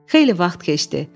Xeyli vaxt keçdi.